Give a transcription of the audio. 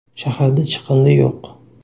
Shaharda chiqindi yo‘q.